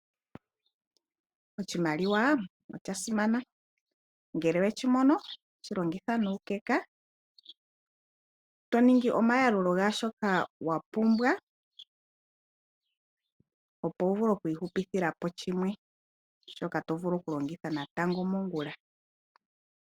Oshimaliwa osha sinana. Ngele owe shi mono, shi longitha nuukeka. To ningi oma yalulo gaa shoka wa pumbwa, opo wu vulu oku i hupithila po shimwe, shoka to vulu oku longitha po ongula.